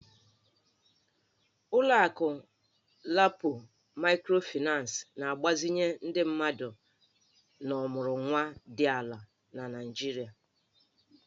Ụlọ akụ LAPO Maịkrofịnancị na-agbazinye ndị mmadụ na ọmụrụnwa dị ala na Nigeria